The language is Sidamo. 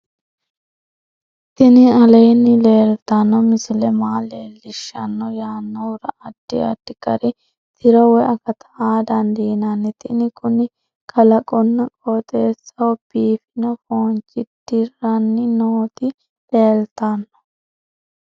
tini aleenni leeltanno misile maa leellishshanno yaannohura addi addi gari tiro woy akata aa dandiinanni tini kuni kalaqonna qooxeessaho biifino foonchi dirranni nootii leeltanno